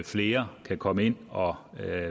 flere kan komme ind og